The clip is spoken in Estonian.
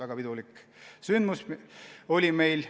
Meil oli sel puhul väga pidulik sündmus.